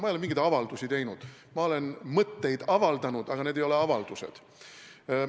Ma ei ole mingeid avaldusi teinud – ma olen mõtteid avaldanud, aga need ei ole avaldused.